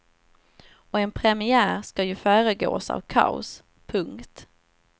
Och en premiär ska ju föregås av kaos. punkt